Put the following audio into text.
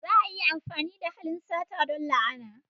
Za a iya amfani da halin sata don la'ana.